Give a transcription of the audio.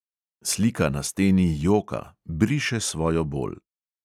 Slika na steni joka, briše svojo bol.